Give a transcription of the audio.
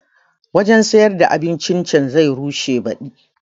Wanjan siyar da abincin can zai rushe baɗi